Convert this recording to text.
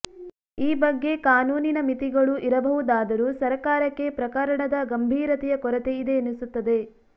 ಈ ಬಗ್ಗೆ ಕಾನೂನಿನ ಮಿತಿಗಳು ಇರಬಹುದಾದರೂ ಸರಕಾರಕ್ಕೆ ಪ್ರಕರಣದ ಗಂಭೀರತೆಯ ಕೊರತೆ ಇದೆಯೆನಿಸುತ್ತದೆ